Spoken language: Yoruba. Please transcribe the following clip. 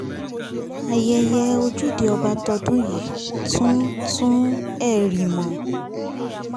ayẹyẹ ojúde ọba tọdún yìí tún tún hẹ̀rìmọ̀